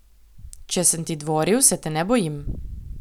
Če sem ti dvoril, se te ne bojim.